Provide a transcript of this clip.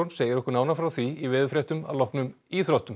segir okkur nánar frá því í veðurfréttum að loknum íþróttum